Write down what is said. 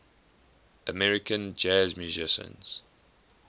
american jazz musicians